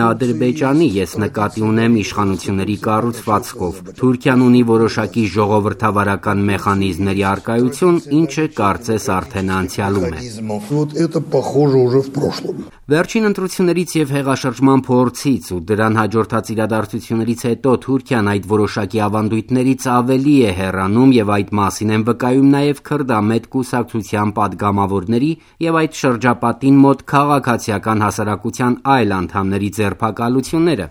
է Ադրբեջանի: Ես նկատի ունեմ իշխանությունների կառուցվածքով: Թուրքիան ունի որոշակի ժողովրդավարական մեխանիզմների առկայություն, ինչը կարծես արդեն անցյալում է»: Վերջին ընտրություններից եւ հեղաշրջման փորձից ու դրան հաջորդած իրադարձություններից հետո Թուրքիան այդ որոշակի ավանդույթներից ավելի է հեռանում եւ այդ մասին են վկայում նաեւ քրդամետ կուսակցության պատգամավորների եւ այդ շրջապատին մոտ քաղաքացիական հասարակության այլ անդամների ձերբակալությունները: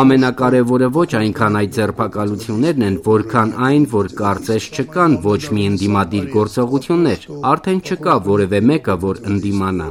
«Ամենակարեւորը ոչ այնքան այդ ձերբակալություններն են, որքան այն, որ կարծես չկան ոչ մի ընդդիմադիր գործողություններ: Արդեն չկա որեւէ մեկը, որ ընդդիմանա»: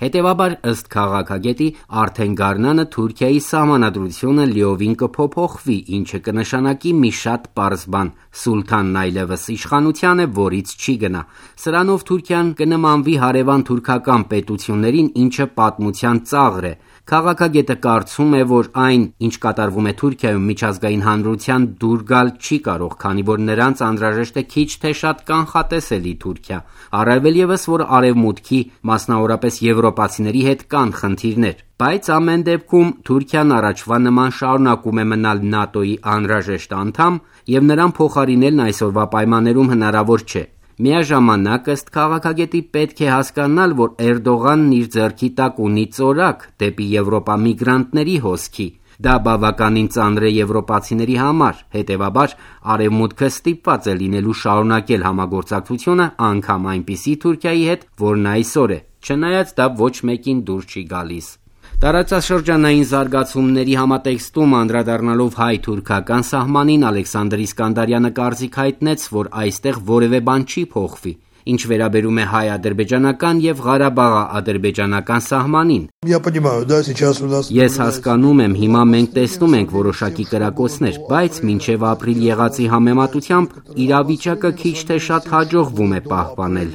Հետեւաբար, ըստ քաղաքագետի, արդեն գարնանը Թուրքիայի Սահմանադրությունը լիովին կփոփոխվի, ինչը կնշանակի մի շատ պարզ բան՝ սուլթանն այլեւս իշխանության է, որից չի գնա: Սրանով Թուրքիան կնմանվի հարեւան թյուրքական պետություններին, ինչը պատմության ծաղր է: Քաղաքագետը կարծում է, որ այն, ինչ կատարվում է Թուրքիայում միջազգային հանրությանը դուր գալ չի կարող, քանի որ նրանց անհրաժեշտ է քիչ թե շատ կանխատեսելի Թուրքիա: Առավել ես, որ արեւմուտքի, մասնավորապես՝ եվրոպացիների հետ կան խնդիրներ: Բայց ամեն դեպքում, Թուրքիան առաջվա նման շարունակում է մնալ ՆԱՏՕ-ի անհրաժեշտ անդամ եւ նրան փոխարինելն այսօրվա պայմաններում հնարավոր չէ: Միաժամանակ, ըստ քաղաքագետի, պետք է հասկանալ, որ Էրդողանն իր ձեռքի տակ ունի ծորակ՝ դեպի եվրոպա միգրանտների հոսքի: Դա բավականին ծանր է եվրոպացիների համար, հետեւաբար՝ Արեւմուտքը ստիպված է լինելու շարունակել համագործակցությունը, անգամ այնպիսի Թուրքիայի հետ, որն այսօր է, չնայած՝ դա ոչ մեկին դուր չի գալիս: Տարածաշրջանային զարգացումների համատեքստում անդրադառնալով հայ-թուրքական սահմանին՝ Ալեքսանդր Իսկանդարյանը կարծիք հայտնեց, որ այստեղ որեւէ բան չի փոխվի: Ինչ վերաբերում է հայ-ադրբեջանական եւ ղարաբաղաադրբեջանական սահմանին. «Ես հասկանում եմ, հիմա մենք տեսնում ենք որոշակի կրակոցներ: Բայց մինչեւ ապրիլ եղածի համեմատությամբ՝ իրավիճակը քիչ թե շատ հաջողվում է պահպանել»: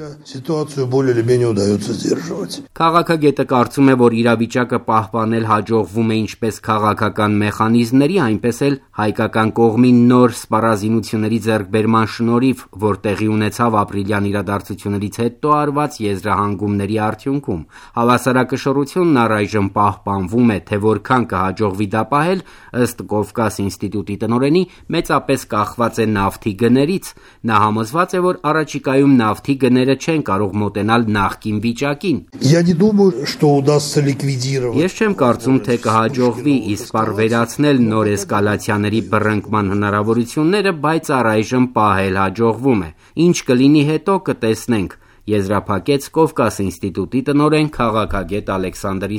Քաղաքագետը կարծում է, որ իրավիճակը պահպանել հաջողվում է ինչպես քաղաքական մեխանիզմների, այնպես էլ՝ հայկական կողմի նոր սպառազինությունների ձեռքբերման շնորհիվ, որ տեղի ունեցավ ապրիլյան իրադարձություններից հետո արված եզրահանգումների արդյունքում: Հավասարակշռությունն առայժմ պահպանվում է, թե որքան կհաջողվի դա պահել, ըստ «Կովկաս» ինստիտուտի տնօրենի, մեծապես կախված է նավթի գներից: Նա համոզված է, որ առաջիկայում նավթի գները չեն կարող մոտենալ նախկին վիճակին: Ես չեմ կարծում, թե կհաջողվի ի սպառ վերացնել նոր էսկալացիաների բռնկման հնարավորությունները, բայց առայժմ պահել հաջողվում է: Ինչ կլինի հետո՝ կտեսնենք՝ եզրափակեց «Կովկաս» ինստիտուտի տնօրեն, քաղաքագետ Ալեքսանդր